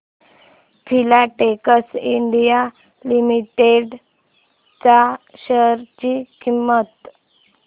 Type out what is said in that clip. Filatex India limited च्या share ची किंमत